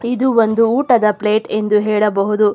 ಇದು ಒಂದು ಊಟದ ಪ್ಲೇಟ್ ಎಂದು ಹೇಳಬಹುದು.